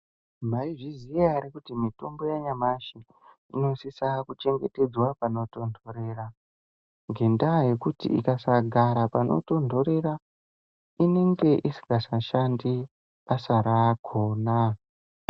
Maizviziya ere kuti mitombo nyamashi inosisa kuchengetedzwa panotonhorera? Ngekuti ikasagara panotonhora inenge isingachashandi basa rakhona.